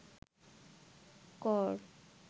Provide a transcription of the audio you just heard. কর